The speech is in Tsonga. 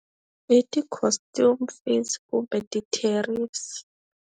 I ti-custom fees kumbe ti-tariffs.